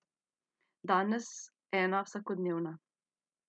Danes ena vsakodnevna.